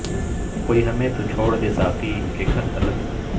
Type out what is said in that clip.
کوئی ہمیں تو چھوڑ دے ساقی کے گھر تلک